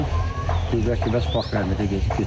Gəldim, bildim ki, bəs vaxt rəhmətə gedib.